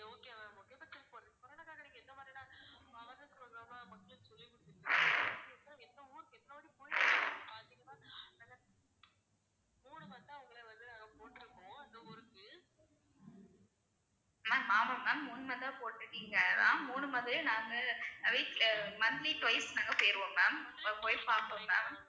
ma'am ஆமா ma'am உண்மைதான் போட்டுருக்கீங்க மூணு நாங்க week அஹ் monthly twice நாங்க போயிருவோம் ma'am போய் பாப்போம் ma'am